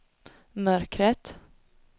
mörkret